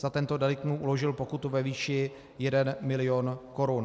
Za tento delikt mu uložil pokutu ve výši 1 milion korun.